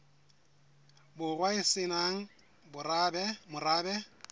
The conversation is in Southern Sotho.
borwa e se nang morabe